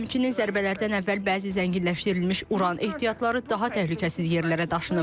Həmçinin zərbələrdən əvvəl bəzi zənginləşdirilmiş uran ehtiyatları daha təhlükəsiz yerlərə daşınıb.